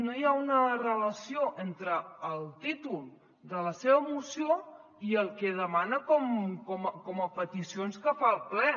no hi ha una relació entre el títol de la seva moció i el que demana com a peticions que fa al ple